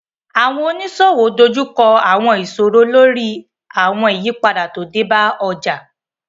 Àwọn oníṣòwò dojú kọ àwọn ìṣòro lórí àwọn ìyípadà tó dé bá ọjà